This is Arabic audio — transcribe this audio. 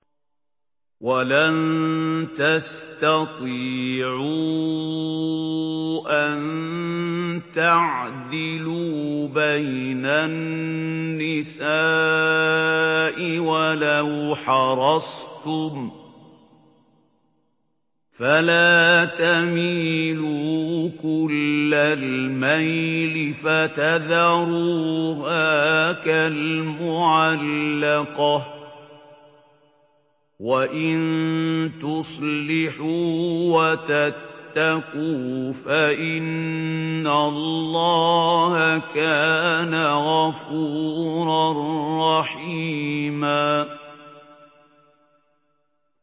وَلَن تَسْتَطِيعُوا أَن تَعْدِلُوا بَيْنَ النِّسَاءِ وَلَوْ حَرَصْتُمْ ۖ فَلَا تَمِيلُوا كُلَّ الْمَيْلِ فَتَذَرُوهَا كَالْمُعَلَّقَةِ ۚ وَإِن تُصْلِحُوا وَتَتَّقُوا فَإِنَّ اللَّهَ كَانَ غَفُورًا رَّحِيمًا